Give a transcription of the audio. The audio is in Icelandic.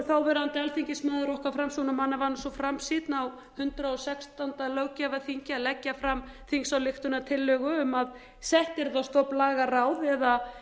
þáverandi alþingismaður okkar framsóknarmanna var nú svo framsýnn á hundrað og sextándu löggjafarþingi að leggja fram þingsályktunartillögu um að sett yrði á stofn lagaráð eða